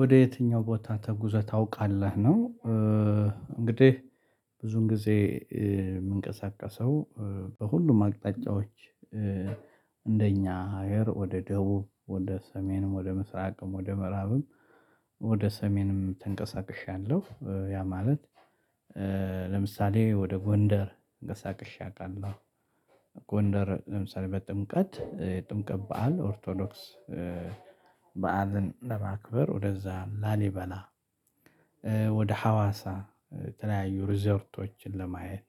ወደ የትኛው ቦታ ተጉዘህ ታውቃለህ ነው? እንግዲህ ብዙን ጊዜ የምንቀሳቀሰው በሁሉም አቅጣጫዎች። እንደኛ ሀገር ወደ ደቡብ ወደ ሰሜንም ወደ ምስራቅም ወደ ምዕራብም ወደ ሰሜንም ተንቀሳቅሻለሁ። ያ ማለት ለምሳሌ ወደ ጎንደር ገሳቅሼ አውቃለሁ ጎንደር ለምሳሌ በጥምቀት የጥምቀት በዓል ኦርቶዶክስ በዓልን ለማክበር ወደዛ ላሊበላ። ወደ ሀዋሳ የተለያዩ ሪዞርቶችን ለማየት።